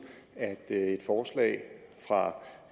at